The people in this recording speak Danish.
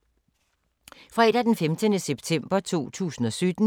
Fredag d. 15. september 2017